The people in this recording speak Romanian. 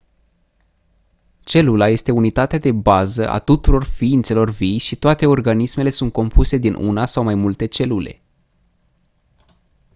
celula este unitatea de bază a tuturor ființelor vii și toate organismele sunt compuse din una sau mai multe celule